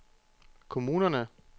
kommunerne